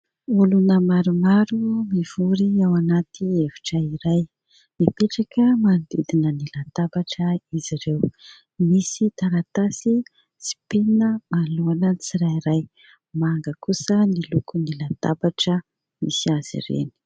Olona maromaro mivory ao anaty efitra iray, mipetraka manodidina ny latabatra izy ireo. Misy taratasy sy penina maloana ny tsirairay. Manga kosa ny lokon'ny latabatra misy azy ireny.